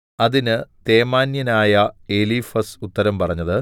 അതിന് തേമാന്യനായ എലീഫസ് ഉത്തരം പറഞ്ഞത്